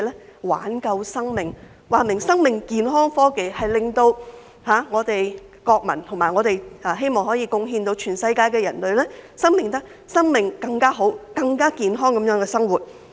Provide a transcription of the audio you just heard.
是為了挽救生命，說明是生命健康科技，應令我們的國民......以及我們希望可以貢獻全世界的人類，生命能更好、更健康地生活。